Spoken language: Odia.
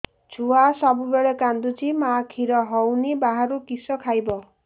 ଛୁଆ ସବୁବେଳେ କାନ୍ଦୁଚି ମା ଖିର ହଉନି ବାହାରୁ କିଷ ଖାଇବ